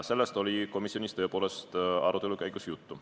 Sellest oli komisjonis tõepoolest arutelu käigus juttu.